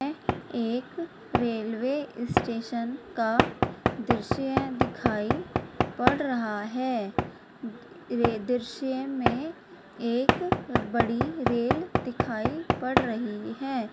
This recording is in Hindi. --एक रेलवे स्टेशन का दृश्य दिखाई पड़ रहा है ये दृश्य में एक बड़ी रेल दिखाई पड़ रही है ।